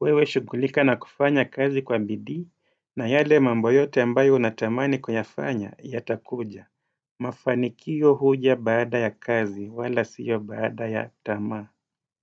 Wewe shughulika na kufanya kazi kwa bidii, na yale mambo yote ambayo unatamani kuyafanya, ya takuja. Mafanikio huja baada ya kazi, wala siyo baada ya tamaa.